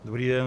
Dobrý den.